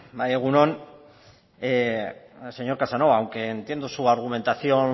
bai egun on señor casanova aunque entiendo su argumentación